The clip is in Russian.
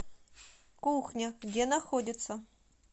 кухня где находится